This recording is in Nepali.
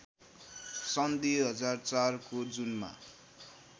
सन् २००४ को जुनमा